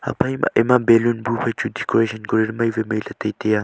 phaima ema balloon bu phai chu decoration kori ley mai wai mailey tai taiya.